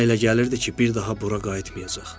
Ona elə gəlirdi ki, bir daha bura qayıtmayacaq.